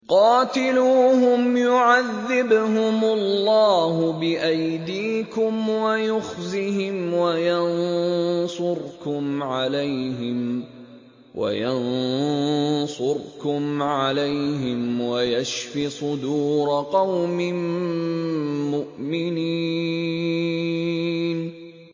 قَاتِلُوهُمْ يُعَذِّبْهُمُ اللَّهُ بِأَيْدِيكُمْ وَيُخْزِهِمْ وَيَنصُرْكُمْ عَلَيْهِمْ وَيَشْفِ صُدُورَ قَوْمٍ مُّؤْمِنِينَ